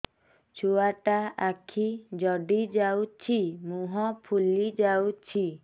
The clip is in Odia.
ଛୁଆଟା ଆଖି ଜଡ଼ି ଯାଉଛି ମୁହଁ ଫୁଲି ଯାଉଛି